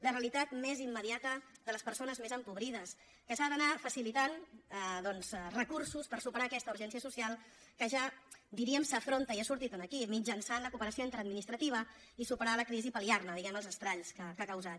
la realitat més immediata de les persones més empobrides que s’ha d’anar facilitant doncs recursos per superar aquesta urgència social que ja diríem s’afronta i ha sortit aquí mitjançant la cooperació interadministrativa i superar la crisi i pal·liar ne diguem ne els estralls que ha causat